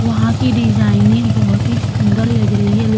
वहाँ की डिजाइने बोहोत ही सुन्दर लग रही है --